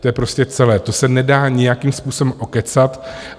To je prostě celé, to se nedá nějakým způsobem okecat.